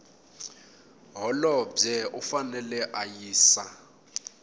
holobye u fanele a yisa